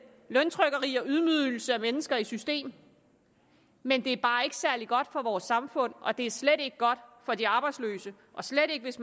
løntrykkeri og ydmygelse af mennesker i system men det er bare ikke særlig godt for vores samfund og det er slet ikke godt for de arbejdsløse og slet ikke hvis